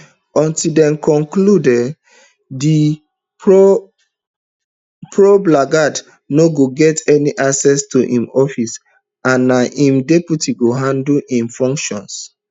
until dem conclude um di probe lagat no go get any access to im office and na im deputy go handle um im functions